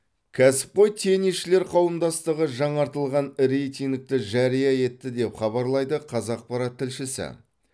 кәсіпқой теннисшілер қауымдастығы жаңартылған рейтингті жария етті деп хабарлайды қазақпарат тілшісі